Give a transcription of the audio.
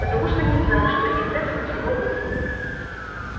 потому что не знаю что из всего этого выйдет